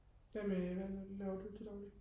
hvad med hvad laver du til dagligt